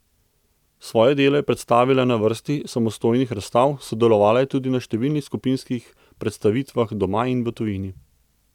Svoje delo je predstavila na vrsti samostojnih razstav, sodelovala je tudi na številnih skupinskih predstavitvah doma in v tujini.